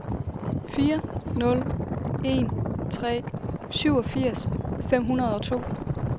fire nul en tre syvogfirs fem hundrede og to